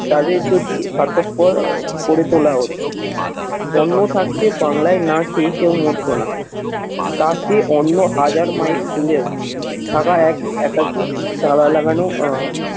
তাদের যদি স্বার্থপর আহ করে তোলা হতো অন্ন থাকতে বাংলায় না খেয়ে কেউ মরতো না। তা সে অন্য হাজার মাইল দূরেও থাকা এক, একাশি, চারা লাগানো আহ